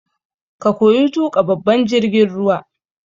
Ka koyi tuƙa babban jirgin ruwa!